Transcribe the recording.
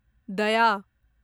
दया